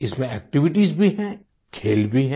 इसमें एक्टिविटीज भी हैं खेल भी हैं